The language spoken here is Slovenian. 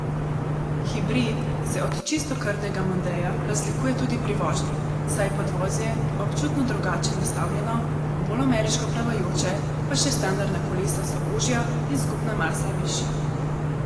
Hibrid se od čistokrvnega mondea razlikuje tudi pri vožnji, saj je podvozje občutno drugače nastavljeno, bolj ameriško plavajoče, pa še standardna kolesa so ožja in skupna masa višja.